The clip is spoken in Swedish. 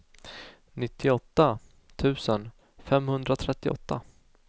nittioåtta tusen femhundratrettioåtta